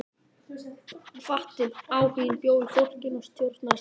Hvatinn, áhuginn bjó í fólkinu og það stjórnaði sjálft náminu.